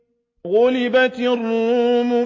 غُلِبَتِ الرُّومُ